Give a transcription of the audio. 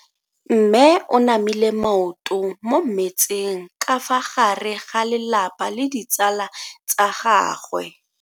Mme o namile maoto mo mmetseng ka fa gare ga lelapa le ditsala tsa gagwe.